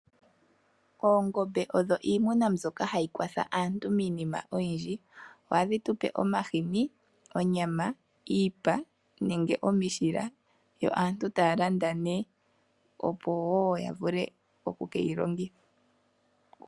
Oongombe odho iimuna mbyoka hayi kwatha aantu miinima oyindji. Ohadhi tupe omahini, onyama, iipa nenge omishila yo aantu taya landa nee opo ya vule oku ke yi longitha.